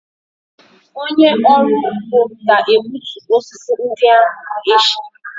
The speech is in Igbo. Onye ọrụ ugbo ga-egbutu osisi ndị ahụ echi.